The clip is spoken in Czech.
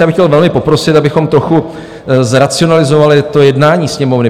Já bych chtěl velmi poprosit, abychom trochu zracionalizovali to jednání Sněmovny.